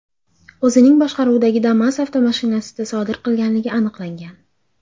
o‘zining boshqaruvidagi Damas avtomashinasida sodir qilganligi aniqlangan.